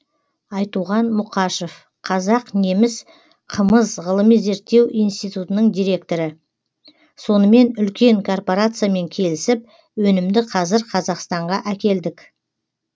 айтуған мұқашев қазақ неміс қымыз ғылыми зерттеу институтының директоры сонымен үлкен корпарациямен келісіп өнімді қазір қазақстанға әкелдік